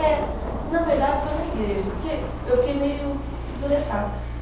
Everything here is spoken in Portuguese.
É, na verdade foi na igreja, porque eu fiquei meio zuretada.